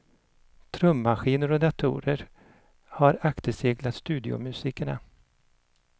Trummaskiner och datorer har akterseglat studiomusikerna.